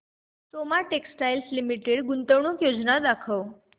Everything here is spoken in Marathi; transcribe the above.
सोमा टेक्सटाइल लिमिटेड गुंतवणूक योजना दाखव